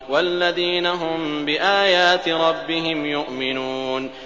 وَالَّذِينَ هُم بِآيَاتِ رَبِّهِمْ يُؤْمِنُونَ